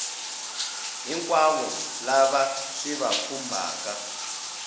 hinkwavo lava swi va khumbhaka